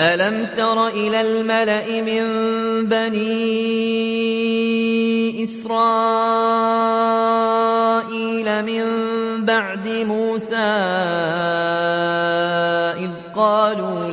أَلَمْ تَرَ إِلَى الْمَلَإِ مِن بَنِي إِسْرَائِيلَ مِن بَعْدِ مُوسَىٰ إِذْ قَالُوا